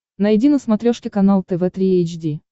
найди на смотрешке канал тв три эйч ди